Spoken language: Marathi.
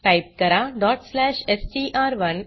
टाइप करा str1